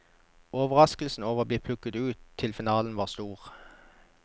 Overraskelsen over å bli plukket ut til finalen var stor.